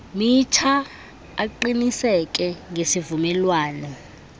mitsha aqiniseke ngesivumelwano